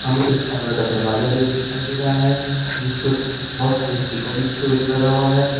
सामने एक फाइबर दरवाजा भी दिखाई दे रहा है जिसपे बहुत सारे स्टीकर लिखे लगा हुआ है।